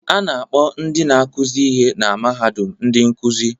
A na-akpọ ndị na-akụzi ihe na mahadum ndị nkuzi